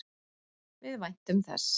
Við væntum þess.